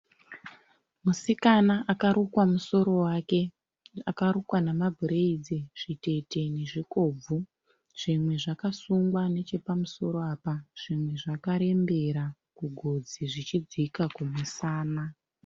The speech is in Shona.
Musikana akarukwa musoro wake. Akarukwa namabhureidzi zvitete nezvikobvu. Zvimwe zvakasungwa nechepamusoro apa zvimwe zvakarembera kugotsi zvichidzika kumusana.